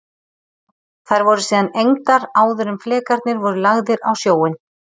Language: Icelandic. Þær voru síðan egndar áður en flekarnir voru lagðir á sjóinn.